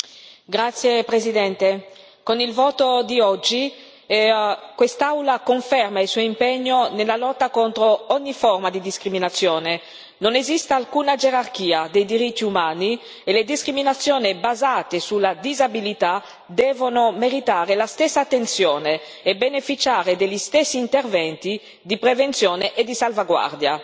Signor Presidente, onorevoli colleghi, con il voto di oggi, quest'Aula conferma il suo impegno nella lotta contro ogni forma di discriminazione. Non esiste alcuna gerarchia dei diritti umani e le discriminazioni basate sulla disabilità devono meritare la stessa attenzione e beneficiare degli stessi interventi di prevenzione e di salvaguardia.